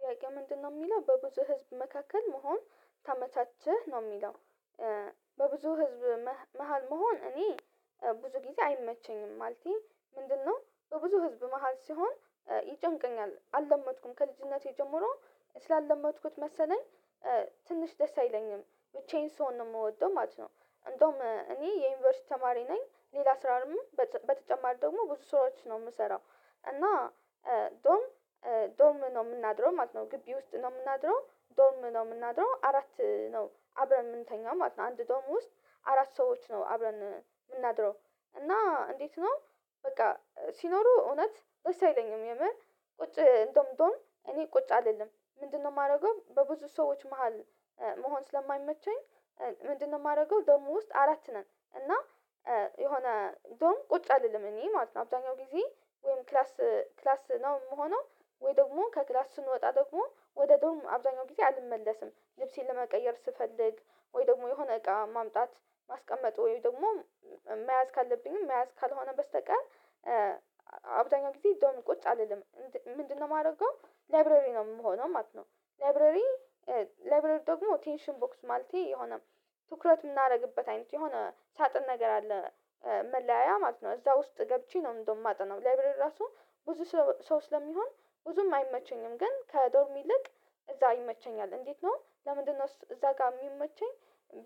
ጥያቄው ምንድነው የሚለው በብዙ ህዝብ መካከል መሆን ታመቻችህ ነው የሚለው? በብዙ ህዝብ መሃል መሆን እኔ ብዙ ጊዜ አይመቸኝም ማለቴ ምንድነው በብዙ ህዝብ መሃል ሲሆን ይጨንቀኛል አልለመድሁም ከልጅነቴ ጀምሮ ስላልመድሁት መሰለኝ። ትንሽ ደስ አይለኝም ብቻዬን ስሆን ነው የምወደው ማለት ነው። እንደውም እኔ የዩኒቨርሲቲ ተማሪ ነኝ ሌላ ስራውንም በተጨማሪ ደግሞ ብዙ ስራዎች ነው የምሰራው። እና ዶርም ዶርም ነው የምናድረው ማለት ነው። ግቢ ውስጥ ነው የምናድረው ዶርም ነው የምናድረው አራት ነው አብረን የምንተኛው ማለት ነው አንድ ዶርም ውስጥ አራት ሰዎች ነው አብረን የምናድረው። እና እንዴት ነው? በቃ ሲኖሩ እውነት ደስ አይለኝም የምር ቁጭ ዶርም ዶርም እኔ ቁጭ አልልም። ምንድነው የማደርገው በብዙ ሰዎች መሃል መሆን ስለማይመቸኝ። ምንድነው የማደርገው ዶርም ውስጥ አራት ነን እና። የሆነ ዶርም ቁጭ አልልም እኔ ማለት ነው አብዛኛው ጊዜ ወይም ክላስ ክላስ ነው የምሆነው። ወይ ደግሞ ከክላስ ስንወጣ ደግሞ ወደ ዶርሞ አብዛኛው ጊዜ አልመለስም ልብሴን ለመቀየር ስፈልግ ወይ ደግሞ የሆነ እቃ ማምጣት ማስቀመጥ ወይ ደግሞ መያዝ ካለብኝም መያዝ ካልሆነ በስተቀር። አብዛኛው ጊዜ ዶርሚ ቁጭ አልልም ምንድነው የማደርገው ላብረሪ ነው የምሆነው ማለት ነው። ላብረሪ ላብረሪ ደግሞ ቴንሽን ቦክስ ማለቴ የሆነ ትኩረት የምናደርግበት አይነት የሆነ ሳጥን ነገር አለ። መለያያ ማለት ነው እዛ ውስጥ ገብቼ ነው እንደውም የማጠናው ላይብረሪ ራሱ ብዙ ሰው ስለሚሆን። ብዙም አይመቸኝም ግን ከዶርሚ ልክ እዛ ይመቸኛል። እንዴት ነው ለምንድነው እዛ ጋር የሚመቸኝ?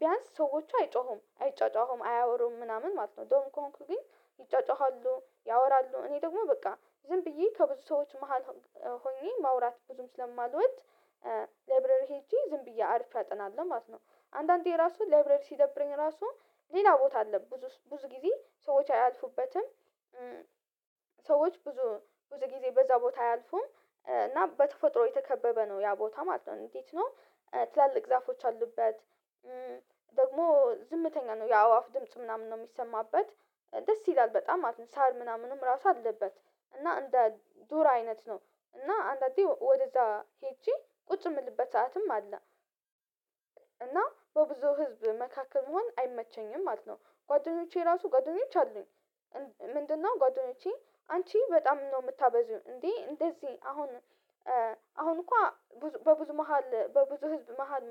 ቢያንስ ሰዎች አይጮሁም አይጫጫሁም አያወሩም ምናምን ማለት ነው ዶርም ከሆንኩኝ ግን ይጫጫሃሉ ያወራሉ እኔ ደግሞ በቃ ዝም ብዬ ከብዙ ሰዎች መሃል ሆኜ ማውራት ብዙም ስለማልወድ። ላይብረሪ ሄጄ ዝም ብዬ አርፌ አጠናለሁ ማለት ነው። አንዳንዴ ራሱ ላይብረሪ ሲደብረኝ ራሱ ሌላ ቦታ አለ ብዙ ብዙ ጊዜ ሰዎች አያልፉበትም። ሰዎች ብዙ ብዙ ጊዜ በዛ ቦታ አያልፉም። እና በተፈጥሮ የተከበበ ነው ያ ቦታ ማለት ነው እንዴት ነው? ትላልቅ ዛፎች አሉበት። ደግሞ ዝምተኛ ነው የአዋፍ ድምጽ ምናምን ነው የሚሰማበት። ደስ ይላል በጣም አትን ሳር ምናምንም ራሱ አለበት። እና እንደ ዱር አይነት ነው። እና አንዳንዴ ወደዛ ሄጄ ቁጭ የምልበት ሰዓትም አለ። እና በብዙ ህዝብ መካከል መሆን አይመቸኝም ማለት ነው። ጓደኞቼ ራሱ ጓደኞች አሉኝ። ምንድን ነው ጓደኞቼ አንቺ በጣም ነው የምታበዥው እንዴ እንደዚህ አሁን እኮ በብዙ መሃል በብዙ ህዝብ መሃል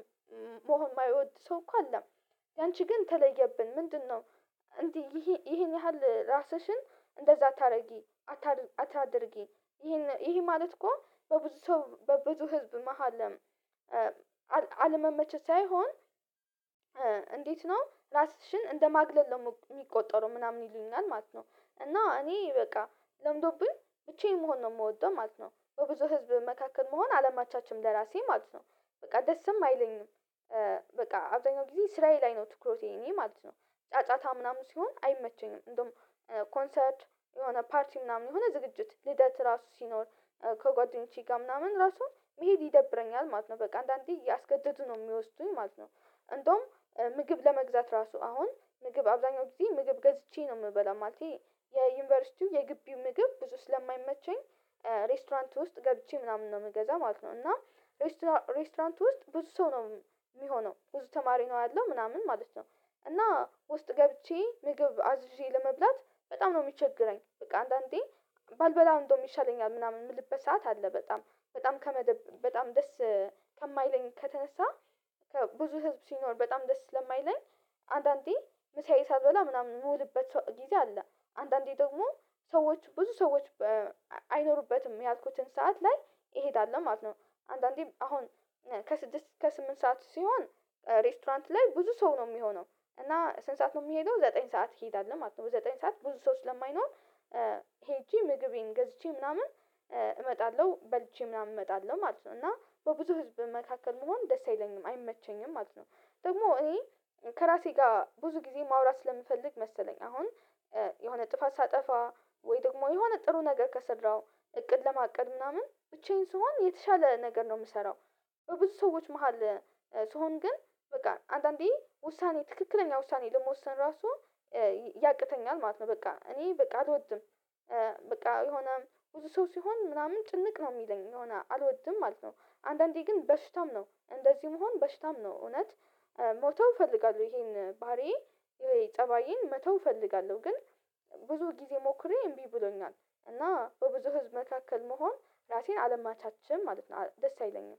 መሆን የማይወድ ሰው እኮ አለ። ያንቺ ግን ተለየብን ምንድነው? እንዲህ ይሄን ያህል ራስሽን እንደዛ አታድርጊ። አታድርጊ ይሄን ይሄ ማለት እኮ በብዙ በብዙ ህዝብ መሃለም አለመመቸት ሳይሆን እንዴት ነው ራስሽን እንደማግለል ነው የሚቆጠረው ምናምን ይሉኛል ማለት ነው። እና እኔ በቃ ለምዶብኝ ብቻየን መሆን ነው የምወደው ማለት ነው በብዙ ህዝብ መካከል መሆን አለማቻችም ለራሴ ማለት ነው። በቃ ደስም አይለኝም። በቃ አብዛኛው ጊዜ ስራዬ ላይ ነው ትኩረቴ እኔ ማለት ነው። ጫጫታ ምናምን ሲሆን አይመቸኝም። እንደውም ኮንሰርት የሆነ ፓርቲ ምናምን የሆነ ዝግጅት ልደት ራሱ ሲኖር ከጓደኞቼ ጋር ምናምን ራሱን መሄድ ይደብረኛል ማለት ነው በቃ አንዳንዴ እያስገደዱ ነው የሚወስዱኝ ማለት ነው። እንደውም ምግብ ለመግዛት ራሱ አሁን ምግብ አብዛኛው ጊዜ ምግብ ገዝቼ ነው የምበላው ማለቴ የዩኒቨርሲቲው የግቢው ምግብ ብዙ ስለማይመቸኝ። ሬስቶራንት ውስጥ ገብቼ ምናምን ነው የምገዛ ማለት ነው እና ሬስቶራንት ውስጥ ብዙ ሰው ነው የሚሆነው ብዙ ተማሪ ነው ያለው ምናምን ማለት ነው። እና ውስጥ ገብቼ ምግብ አዝዤ ለመብላት በጣም ነው የሚቸገረኝ በቃ አንዳንዴ። ባልበላ እንደውም ይሻለኛል ምናምን የምልበት ሰዓት አለ። በጣም በጣም ከመደብ በጣም ደስ ከማይለኝ ከተነሳ ብዙ ህዝብ ሲኖር በጣም ደስ ስለማይለኝ። አንዳንዴ መሳይ ሳልበላ ምናምን የምውልበት ሰው ጊዜ አለ። አንዳንዴ ደግሞ ሰዎች ብዙ ሰዎች አይኖሩበትም ያልኩትን ሰዓት ላይ እሄዳለሁ ማለት ነው። አንዳንዴም አሁን ከስድስት ከስምንት ሰዓት ሲሆን ሬስቶራንት ላይ ብዙ ሰው ነው የሚሆነው። እና ስንት ሰዓት ነው የሚሄደው ዘጠኝ ሰዓት እሄዳለሁ ማለት ነው ዘጠኝ ሰዓት ብዙ ሰው ስለማይኖር። ሄጄ ምግቤን ገዝቼ ምናምን እመጣለሁ በልቼ ምናምን እመጣለሁ ማለት ነው እና በብዙ ህዝብ መካከል መሆን ደስ አይለኝም አይመቸኝም ማለት ነው። ደግሞ እኔ ከራሴ ጋር ብዙ ጊዜ ማውራት ስለምፈልግ መሰለኝ አሁን የሆነ ጥፋት ሳጠፋ ወይ ደግሞ የሆነ ጥሩ ነገር ከሰራሁ እቅድ ለማቀድ ምናምን ብቻዬን ስሆን የተሻለ ነገር ነው የምሰራው። በብዙ ሰዎች መሃል ስሆን ግን በቃ አንዳንዴ ውሳኔ ትክክለኛ ውሳኔ ለመወሰን ራሱ ያቅተኛል ማለት ነው። በቃ እኔ በቃ አልወድም። በቃ የሆነ ብዙ ሰው ሲሆን ምናምን ጭንቅ ነው የሚለኝ የሆነ አልወድም ማለት ነው። አንዳንዴ ግን በሽታም ነው እንደዚሁም መሆን በሽታም ነው እውነት። መተው እፈልጋለሁ ይሄን ባህሪዬ ወይ ጠባዬን መተው እፈልጋለሁ ግን ብዙ ጊዜ ሞክሬ እምቢ ብሎኛል። እና በብዙ ህዝብ መካከል መሆን ራሴን አለማቻችም ማለት ነው ደስ አይለኝም